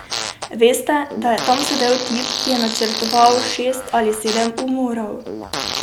Veste, da je tam sedel tip, ki je načrtoval šest ali sedem umorov.